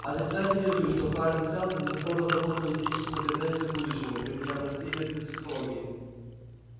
отрицаете ли вы что хари сэлдон легко разработал историческую тенденцию будущего применяя простые методы психологии